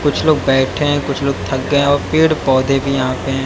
कुछ लोग बैठे हैं कुछ लोग थक गए हैं और पेड़ पौधे भी यहां पे हैं।